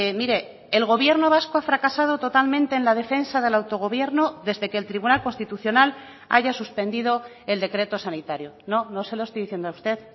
mire el gobierno vasco ha fracasado totalmente en la defensa del autogobierno desde que el tribunal constitucional haya suspendido el decreto sanitario no no se lo estoy diciendo a usted